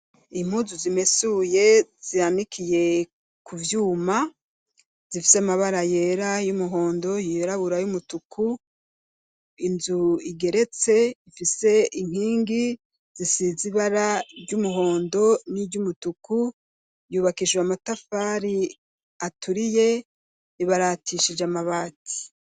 Impuzu zimesuye, zanikiye ku vyuma, zifise amabara yera, y'umuhondo, yirabura, y'umutuku; inzu igeretse, ifise inkingi zisize ibara ry'umuhondo, n'iry'umutuku, yubakishijwe amatafari aturiye, ibaratishije amabati.